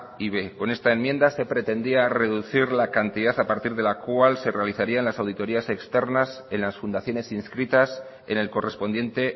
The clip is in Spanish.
y b con esta enmienda se pretendía reducir la cantidad a partir de la cual se realizarían las auditorías externas en las fundaciones inscritas en el correspondiente